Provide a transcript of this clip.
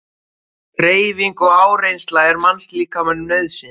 Hreyfing og áreynsla er mannslíkamanum nauðsyn.